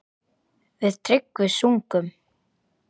Við Tryggvi sungum